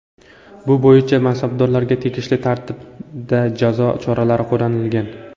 Bu bo‘yicha mansabdorlarga tegishli tartibda jazo choralari qo‘llanilgan.